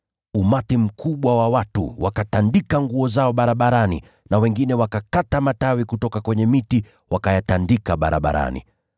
Umati mkubwa wa watu ukatandaza mavazi yao barabarani, na wengine wakakata matawi kutoka kwenye miti, wakayatandaza barabarani.